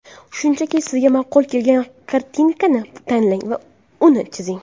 Shunchaki, sizga ma’qul kelgan kartinkani tanlang va uni chizing.